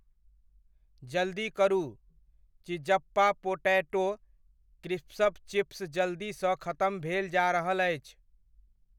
जल्दी करु, चिज़्ज़पा पोटैटो क्रिस्प्स चिप्स जल्दीसँ खतम भेल जा रहल अछि।